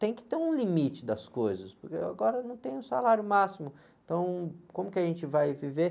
tem que ter um limite das coisas, porque agora não tem o salário máximo, então como que a gente vai viver?